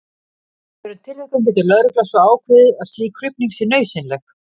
Í öðrum tilvikum getur lögregla svo ákveðið að slík krufning sé nauðsynleg.